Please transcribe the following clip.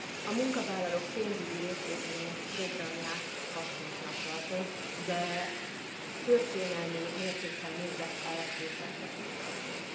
A munkavállalók pénzügyi részvételének programját hasznosnak tartom, de történelmi mértékkel nézve elkésettnek is tartom.